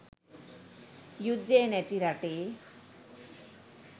යුද්ධය නැති රටේ